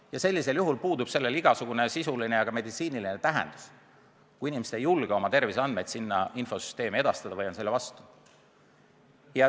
Ja sellisel juhul puudub sellel igasugune sisuline ja ka meditsiiniline tähtsus, kui inimesed ei julge oma terviseandmeid sinna infosüsteemi edastada või on selle vastu.